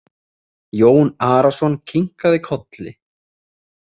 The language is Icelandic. Jón Arason kinkaði kolli.